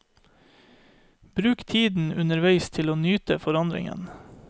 Bruk tiden underveis til å nyte forandringen.